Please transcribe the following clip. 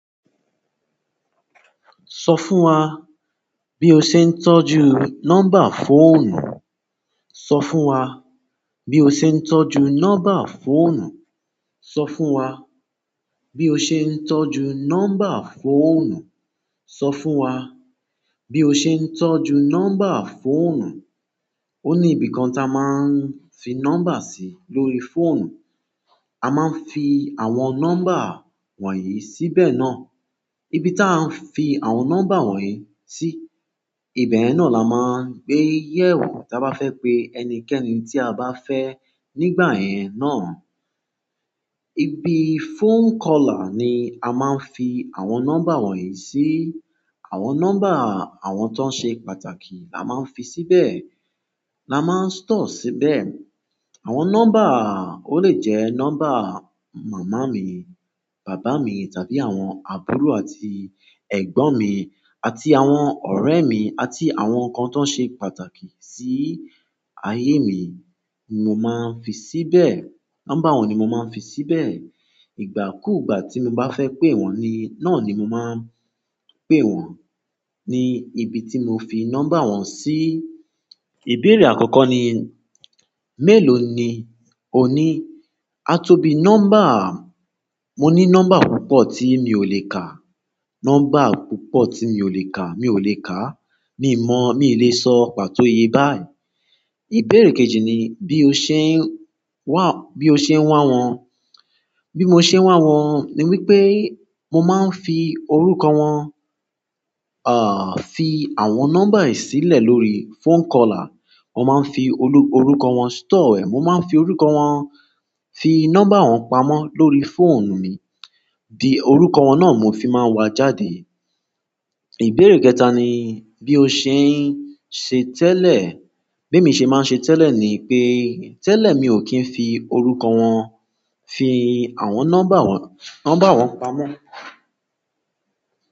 Sọ fún wa bí o ṣe ń tọ́jú nọ́mbà fóònù. Sọ fún wa bí o ṣe ń tọ́jú nọ́mbà fóònù. Sọ fún wa bí o ṣe ń tọ́jú nọ́mbà fóònù. Sọ fún wa bí o ṣe ń tọ́jú nọ́mbà fóònù. Oni ibí kàn tá máa fí nọ́mbà sì lórí fóònù. A máa ń fi àwọn nọ́mbà wọ̀nyí síbẹ̀ náà. Ìbí tí n fi àwọn nọ́mbà wọ̀nyí sí ibẹ yẹn náà la máà n iyẹn o ti a bá fẹ pé ẹnikẹni ti a bá fẹ nígbà yẹn náà. Ibi phone caller ni a máa ń fi àwọn nọ́mbà wọ̀nyí sí. Àwọn nọ́mbà àwọn tó ṣe pàtàkì la máa ń fi síbẹ̀, la máa ń store síbẹ̀. Àwọn nọ́mbà, ó lè jẹ́ nọ́mbà màmá mi, bàbá mi tàbí àwọn àbúrò àti ẹ̀gbọ́n mi àti àwọn ọ̀rẹ́ mi àti àwọn kan tó ṣe pàtàkì sí ayé mi ni mo máa ń fi síbẹ̀. Nọ́mbà wọn ni mo máa ń fi síbẹ̀. Ìgbà kú ìgbà tí mo bá fẹ́ pé wọ́n ni, náà ni mo máa ń pé wọ́n. Ni ibi tí mo fi nọ́mbà wọn sí. Ìbéèrè àkọ́kọ́ ni, mélòó ni ó ní? A tó bí nọ́mbà, mo ní nọ́mbà púpọ̀ tí mi ò lè kà. Nọ́mbà púpọ̀ tí mi ò lè kà, mi ò lè ká. Mi mọ mii lè sọ pàtó ìyè bá yí. Ìbéèrè kejì ni bí o ṣe ǹ wà wọn. Bí mo ṣe ń wá wọn ni wípé mo máa ń fi orúkọ wọn, à, fi àwọn nọ́mbà yìí sílẹ̀ lórí phone caller. Mo máa ń fi olú-- orúkọ wọn store. Mo máa ń fi orúkọ wọn, fi nọ́mbà wọn pamọ́ lórí fóònù mi. Di orúkọ wọn náà mo fi máa ń wa jáde. Ìbéèrè kẹta ni, bí o ṣe ń ṣe tẹ́lẹ̀. Bí mi ṣe máa ń ṣe tẹ́lẹ̀ ni pé, tẹ́lẹ̀ mi ò kí ń fi orúkọ wọn, fi àwọn nọ́mbà wọn, nọ́mbà wọn pamọ́.